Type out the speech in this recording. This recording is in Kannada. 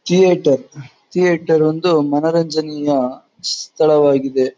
ಥೀಯೇಟರ್ ಥೀಯೇಟರ್ ಒಂದು ಮನೋರಂಜನೀಯ ಸ್ಥಳವಾಗಿದೆ.